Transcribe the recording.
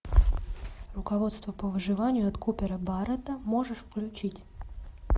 руководство по выживанию от купера баррэта можешь включить